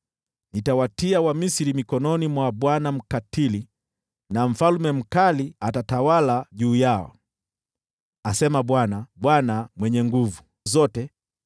Nitawatia Wamisri mikononi mwa bwana mkatili na mfalme mkali atatawala juu yao,” asema Bwana, Bwana Mwenye Nguvu Zote.